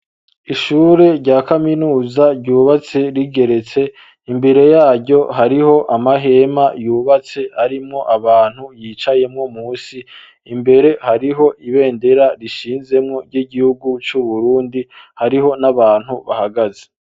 Ishure rya kaminuza ryubatse rigeretse imbere yaryo hariho amahema yubatse arimwo abantu yicayemwo musi imbere hariho ibendera rishinzemwo ry'igihugu c'uburundi hariho n'abantu bahagaze.